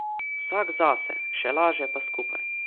Vsak zase, še laže pa skupaj.